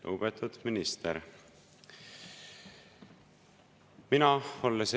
Lugupeetud minister!